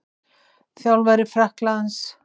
Þjálfari Frakklands?